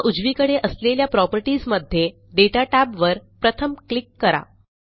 आता उजवीकडे असलेल्या प्रॉपर्टीज मध्ये दाता tab वर प्रथम क्लिक करा